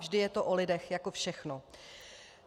Vždy je to o lidech, jako všechno.